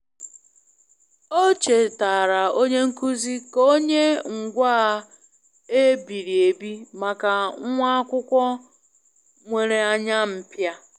O chetaara onye nkuzi ka o nye ngwaa e biri ebi maka nwa akwụkwọ nwere anya mpia.